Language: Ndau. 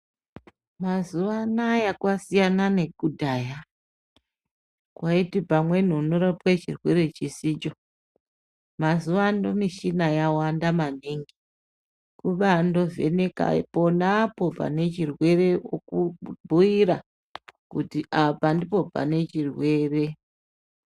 Mazuwa anaya kwasiyana nekudhaya kwaiti pamweni unorapwe chirwere chisicho mazuwano mishina yawanda maningi kubandoovheneka ponapo pane chirwere oku bhuyira kuti apa ndipo pane chirwere.